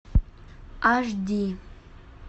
аш ди